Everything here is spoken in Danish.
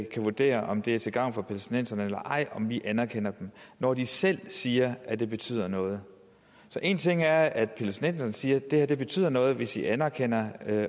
kan vurdere om det er til gavn for palæstinenserne eller ej om vi anerkender dem når de selv siger at det betyder noget så en ting er at palæstinenserne siger at det betyder noget hvis vi anerkender